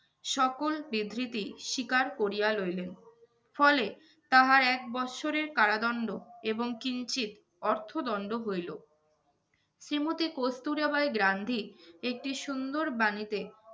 সকল বিবৃতি স্বীকার করিয়া লইলেন। ফলে তাহার এক বৎসরের কারাদণ্ড এবং কিঞ্চিৎ অর্থ দণ্ড হইলো। শ্রীমতী কস্তুরাবাঈ গান্ধী একটি সুন্দর বাণীতে